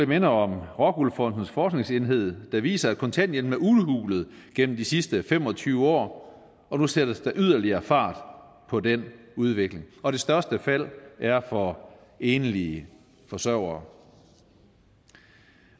minde om rockwool fondens forskningsenhed der viser at kontanthjælpen er udhulet gennem de sidste fem og tyve år og nu sættes der yderligere fart på den udvikling og det største fald er for enlige forsørgere